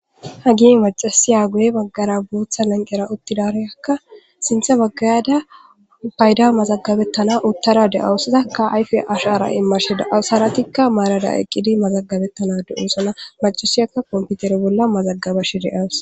hagin macasiya goye baggara bootha lanqera uttidaroyakka sinthe baggayada payda mazagabettana uttara de7awusiza ka ayfe ashara immashe daausaratikka maarada eqqidi mazagabettana de7oosana macusiyakka komputere bolla mazaggabashi deas